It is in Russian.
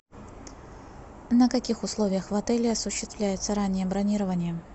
на каких условиях в отеле осуществляется раннее бронирование